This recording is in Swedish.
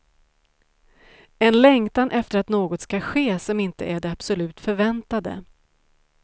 En längtan efter att något ska ske som inte är det absolut förväntade.